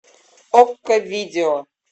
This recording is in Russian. окко видео